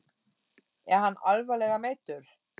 Er hann alvarlega meiddur?